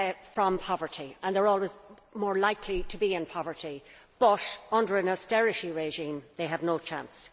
from poverty, and they are always more likely to be in poverty, but under an austerity regime they have no chance'.